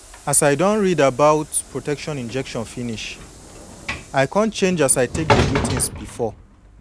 as i don read about protection injection finish i come change as i take dey do thins before